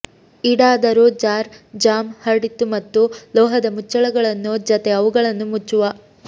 ಈಡಾದರು jar jam ಹರಡಿತು ಮತ್ತು ಲೋಹದ ಮುಚ್ಚಳಗಳು ಜೊತೆ ಅವುಗಳನ್ನು ಮುಚ್ಚುವ